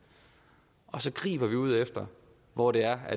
og så griber ud efter hvor det er